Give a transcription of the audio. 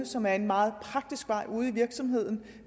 som er en meget praktisk vej ud i en virksomhed